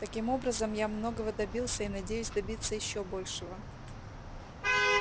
таким образом я многого добился и надеюсь добиться ещё большего